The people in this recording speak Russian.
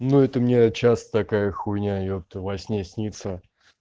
ну это мне сейчас такая хули епта во сне снится